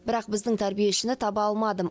бірақ біздің тәрбиешіні таба алмадым